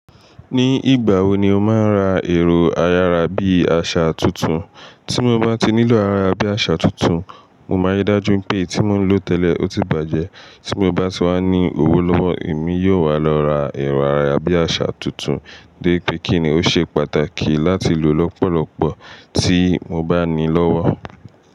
Ní ìgbà wo ni o máa ra ẹ̀rọ ayára bí àṣà tuntun? Tí mo bá ti nílò ara bí àṣà tuntun, mo máa ri dájú pé èyí tí mo ń lò tẹ́lẹ̀ ó ti bàjẹ́. Tí mo bá ti wá ní owó lọ́wọ́, èmi yóò wá lọ ra ẹ̀rọ ayára bí àṣà tuntun dé pé kí ni ó ṣe pàtàkì láti lò lọ́pọ̀lọpọ̀ tí mo bá ní lọ́wọ́.